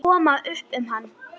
Koma upp um hann.